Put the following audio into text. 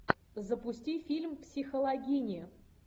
запусти фильм психологини